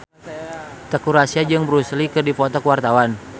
Teuku Rassya jeung Bruce Lee keur dipoto ku wartawan